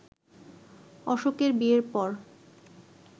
অশোকের বিয়ের পর